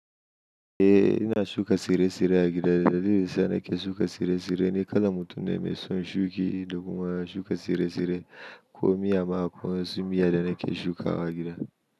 Eh ina shuka tsirrai -tsirrai a gida. Dalilin sa nake shuka tsirrai-tsirrai ni kalan mutun ne mai son shuki da kuma shuka tsirrai-tsirrai ko miya ma ko wasu miya da nake shukawa a gida.